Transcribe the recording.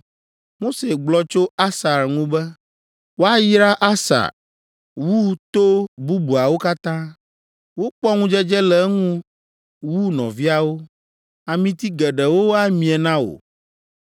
Mose gblɔ tso Asar ŋu be: “Woayra Aser wu to bubuawo katã; wokpɔ ŋudzedze le eŋu wu nɔviawo, amiti geɖewo amie na wò.